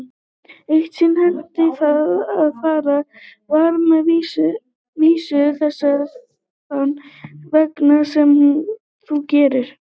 Eitt sinn henti það að farið var með vísu þessa þann veg sem þú gerðir.